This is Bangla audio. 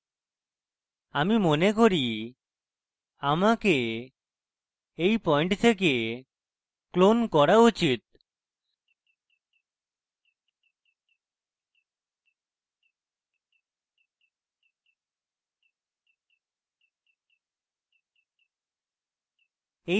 আমি মনে করি আমাকে এই পয়েন্ট থেকে clone করা উচিত